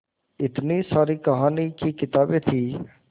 इतनी सारी कहानी की किताबें थीं